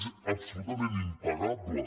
és absolutament impagable